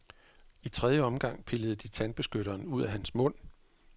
I tredje omgang pillede de tandbeskytteren ud af hans mund.